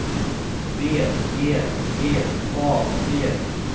B E G A V